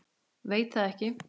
Veit það ekki.